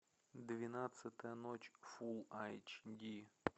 двенадцатая ночь фул эйч ди